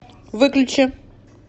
выключи